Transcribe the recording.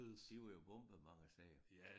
De var jo bombet mange steder